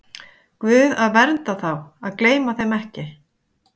Guð að vernda þá, að gleyma þeim ekki.